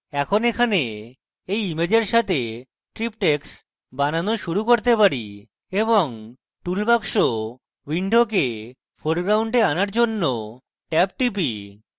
এখন এখানে এই ইমেজের সাথে triptychs বানানো শুরু করতে পারি এবং toolbox window foreground আনার জন্য ট্যাব টিপি